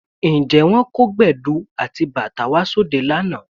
Ǹjẹ́ wọ́n kó Gbẹ̀du àti bàtá wá sí òde lánàá?